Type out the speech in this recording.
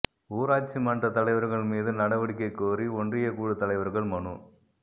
ஊராட்சி மன்றத் தலைவா்கள் மீது நடவடிக்கை கோரி ஒன்றியக் குழுத் தலைவா்கள் மனு